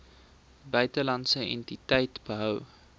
buitelandse entiteit gehou